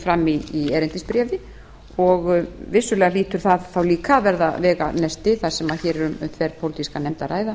fram í erindisbréfi og vissulega hlýtur það þá líka að verða veganesti þar sem hér er um þverpólitíska nefnd að ræða